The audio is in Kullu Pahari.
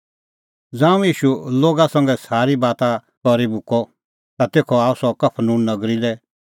ज़ांऊं ईशू लोगा संघै सारी गल्लाबाता करी मुक्कअ ता तेखअ आअ सह कफरनहूम नगरी लै